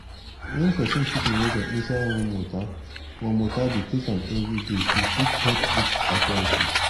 wen peson put moringa inside warm water warm water dey take am everyday e fit help treat arthritis.